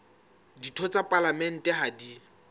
ditho tsa palamente ha di